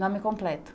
Nome completo.